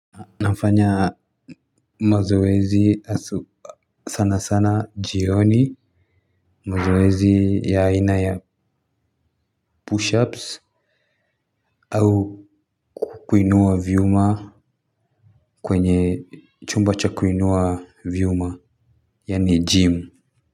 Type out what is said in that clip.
Nafanya mazoezi asu sana sana jioni mazoezi ya aina ya push ups au kukuinua vyuma kwenye chumba cha kukuinua vyuma yani gym.